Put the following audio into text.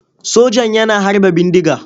Sojan yana harba bindiga.